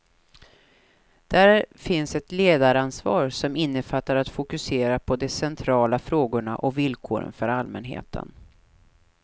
Där finns ett ledaransvar, som innefattar att fokusera de centrala frågorna och villkoren för allmänheten.